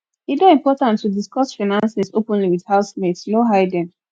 e dey important to discuss finances openly with housemates no hiding